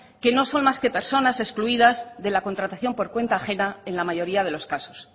que no son más que personas excluidas de la contratación por cuenta ajena en la mayoría de los casos